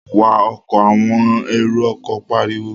Wa ọkọ̀! àwọn èrò ọkọ̀ pariwo